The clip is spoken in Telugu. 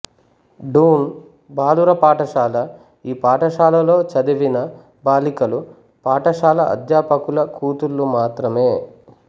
డూన్ బాలుర పాఠశాల ఈ పాఠశాలలో చదివిన బాలికలు పాఠశాల అధ్యాపకుల కూతుళ్ళు మాత్రమే